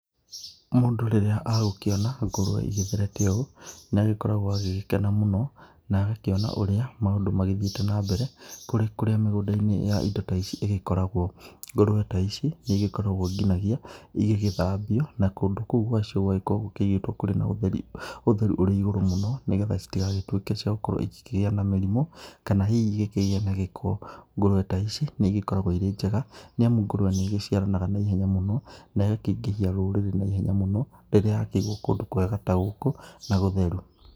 Mũndũ rĩrĩa agũkĩona ngũrũwe igĩtherete ũũ, nĩ agĩkoragwo agĩgĩkena mũno na agakĩona ũrĩa maũndũ magĩthiĩte na mbere kũrĩ kũrĩa mĩgũnda-inĩ ya indo ta ici igĩkoragwo. Ngũrũwe ta ici nĩ igĩkoragwo nginyagia igĩgĩthambio, na kũndũ kũu gwacio gũgakorwo gũkĩigĩtwo kũrĩ na ũtheru ũrĩ igũrũ mũno, nĩgetha citigagĩtuĩke cia gũkorwo igĩkĩgĩa na mĩrĩmu, kana hihi igĩkĩgĩe na gĩko, ngũrũwe ta ici nĩ igĩkoragwo irĩ njega, nĩ amu ngũrũwe nĩ igĩciaranaga na ihenya mũno na igakĩingĩhia rũrĩrĩ na ihenya mũno, rĩrĩa yakĩigwo kũndũ kwega ta gũkũ na gũtheru.